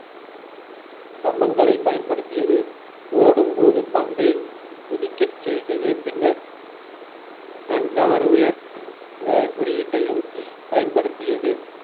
கம்பங்களை பயன்படுத்தியது ஓடும்போது பந்தை குதிக்கச் செய்தது பின்னர் கண்கவர் உயர் குறியீட்டையும் பயன்படுத்தியது